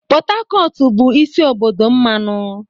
Pot Tacotu bụ isi obodo mmanụ.